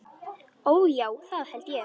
Ó, já, það held ég.